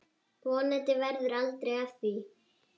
Vonandi verður aldrei af því.